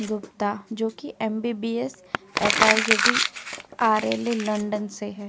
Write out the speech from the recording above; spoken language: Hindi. गुप्ता जोकि एमबीबीएस लंदन से है।